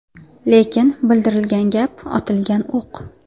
Lekin bildirilgan gap otilgan o‘q.